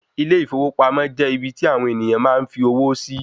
Ilé ìfowópamọ́ jẹ́ ibi tí àwon ènìyàn máa n fi owó sí.